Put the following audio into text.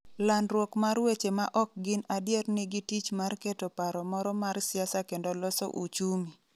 Landruok mar weche ma ok gin adier nigi tich mar keto paro moro mar siasa kendo loso uchumi.